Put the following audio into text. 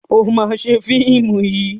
O ma ṣe fíìmù yìí!